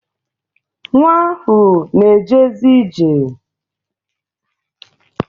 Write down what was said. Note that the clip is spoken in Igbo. Nwa ahụ na-ejezi ije.